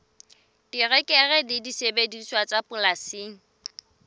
terekere le disebediswa tsa polasing